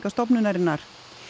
stofnunarinnar